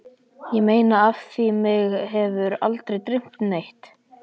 Ég meina af því mig hefur aldrei dreymt neitt.